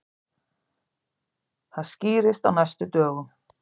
Það skýrist á næstu dögum.